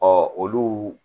Ɔ olu